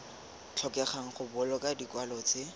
tlhokegang go boloka dikwalo tse